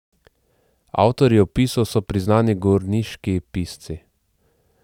Avtorji opisov so priznani gorniški pisci.